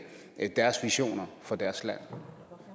deres visioner for deres land